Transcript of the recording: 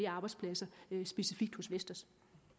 arbejdspladser specifikt hos vestas